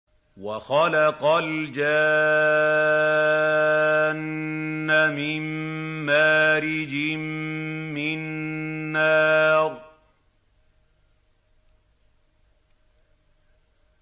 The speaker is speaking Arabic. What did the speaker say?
وَخَلَقَ الْجَانَّ مِن مَّارِجٍ مِّن نَّارٍ